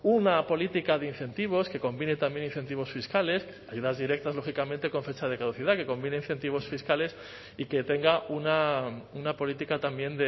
una política de incentivos que combine también incentivos fiscales ayudas directas lógicamente con fecha de caducidad que combine incentivos fiscales y que tenga una política también